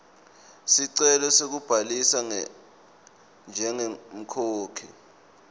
sicelo sekubhalisa njengemkhokhi